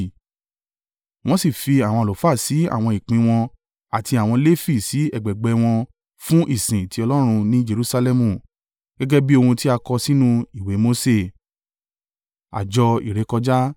Wọ́n sì fi àwọn àlùfáà sí àwọn ìpín wọ́n àti àwọn Lefi sì ẹgbẹẹgbẹ́ wọn fún ìsin ti Ọlọ́run ní Jerusalẹmu, gẹ́gẹ́ bí ohun tí a kọ sínú ìwé Mose.